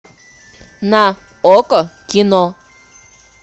на окко кино